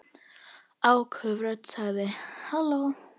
Áköf rödd sagði: Halló?